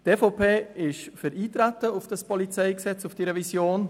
Die EVP ist für Eintreten auf die Beratung der Revision